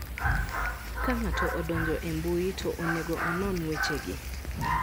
Ka ng'ato odonjo e mbui, to onego onon wechegi: